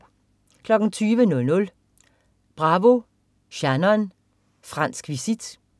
20.00 Bravo, Shannon. Fransk visit